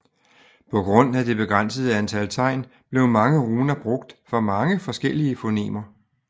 På grund af det begrænsede antal tegn blev mange runer brugt for mange forskellige fonemer